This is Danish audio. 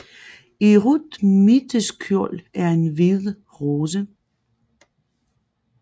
I rødt midterskjold en hvid rose